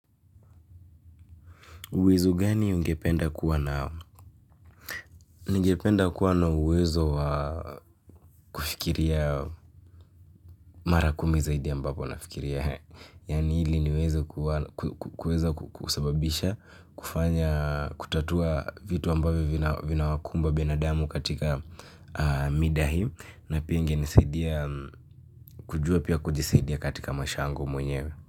Uwezo gani ungependa kuwa nao? Ningependa kuwa na uwezo wa kufikiria mara kumi zaidi ambavyo nafikiria eehe. Yaani ili niweze kuwa, ku, ku, kuweza kusababisha kufanya, kutatua vitu ambavyo vina wakumba binadamu katika mida hii na pia ingenisaidia, kujua pia kujisaidia katika maisha yangu mwenyewe.